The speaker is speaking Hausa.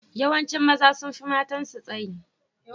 Yawancin maza sun fi matansu tsayi.